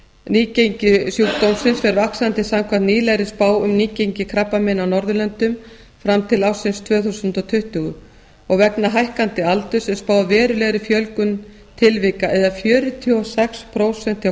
nýgengi sjúkdómsins fer vaxandi samkvæmt nýlegri spá um nýgengi krabbameina á norðurlöndum fram til ársins tvö þúsund tuttugu og vegna hækkandi aldurs er spáð verulegri fjölgun tilvika eða fjörutíu og sex prósent hjá